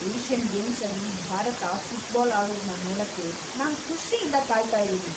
Asian ಗೇಮ್ಸಲ್ಲಿ Bharat football ಆಡೋದ್ನ ನೋಡಕ್ಕೆ ನಾನ್ ಖುಷಿಯಿಂದ ಕಾಯ್ತಾ ಇದೀನಿ.